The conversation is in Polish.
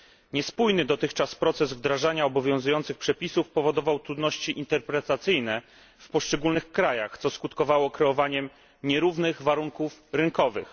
Niespójny dotychczas proces wdrażania obowiązujących przepisów powodował trudności interpretacyjne w poszczególnych krajach, co skutkowało kreowaniem nierównych warunków rynkowych.